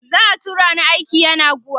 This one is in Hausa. za'a tura ni aiki yenagoa